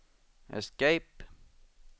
escape